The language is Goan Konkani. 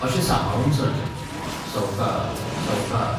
अशें सांबाळून चलचें, सवकाऽ, सवकाऽऽ.